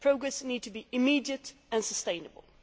Progress needs to be immediate and sustainable.